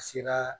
A sera